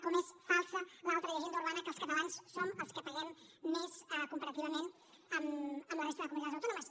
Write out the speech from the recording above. com és falsa l’altra llegenda urbana que els catalans som els que paguem més comparativament amb la resta de comunitats autònomes